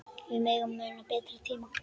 Við megum muna betri tíma.